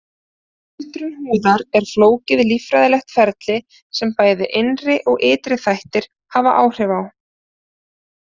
Öldrun húðar er flókið líffræðilegt ferli sem bæði innri og ytri þættir hafa áhrif á.